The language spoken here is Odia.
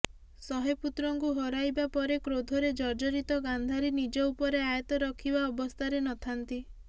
ଶହେ ପୁତ୍ରଙ୍କୁ ହରାଇବା ପରେ କ୍ରୋଧରେ ଜର୍ଜରିତ ଗାନ୍ଧାରୀ ନିଜ ଉପରେ ଆୟତ୍ତ ରଖିବା ଅବସ୍ଥାରେ ନଥାନ୍ତି